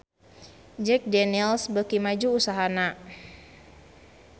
Jack Daniel's beuki maju usahana